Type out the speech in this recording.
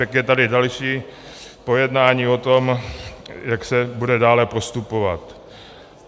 Pak je tady další pojednání o tom, jak se bude dále postupovat.